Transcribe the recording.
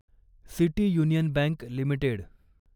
city union bank limited